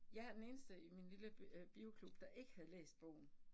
Jeg er den eneste i min lille bioklub, der ikke havde læst bogen